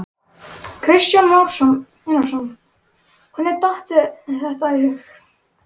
Kristján Már Unnarsson: Hvernig datt þér þetta í hug?